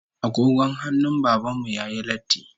Agogon hannun Baban mu yayi latti